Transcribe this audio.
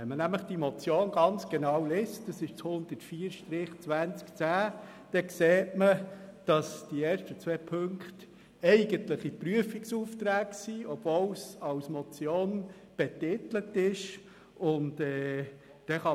Liest man die Motion genau, sieht man nämlich, dass die ersten beiden Punkte eigentliche Prüfungsaufträge darstellen, trotz der Betitelung es als Motion.